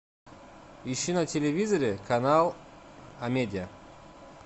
ищи на телевизоре канал амедиа